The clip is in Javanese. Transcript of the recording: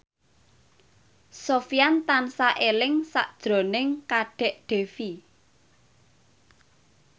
Sofyan tansah eling sakjroning Kadek Devi